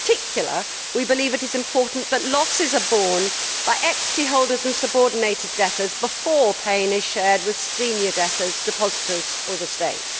In particular, we believe it is important that losses are borne by equity holders and subordinated debtors before pain is shared with senior debtors, depositors or the state.